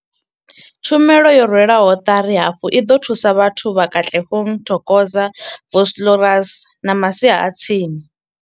Tshumelo yo rwelwaho ṱari hafhu i ḓo thusa vhathu vha Katlehong, Thokoza, Vosloorus na masia a tsini.